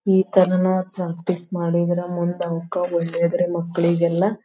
ಈ ತರನು ಪ್ರಾಕ್ಟೀಸ್ ಮಾಡಿದ್ರೆ ಮುಂದೆ ಅವಕ್ಕ ಒಳ್ಳೇದ್ರೀ ಮಕ್ಕಳಿಗೆಲ್ಲಾ.